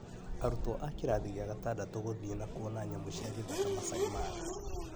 Arutwo a kĩrathi gĩa gatandatũ gũthĩĩna kuona nyamũ cĩa gĩtihaka Masaai mara